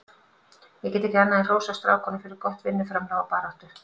Ég get ekki annað en hrósað strákunum fyrir gott vinnuframlag og baráttu.